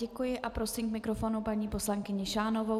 Děkuji a prosím k mikrofonu paní poslankyni Šánovou.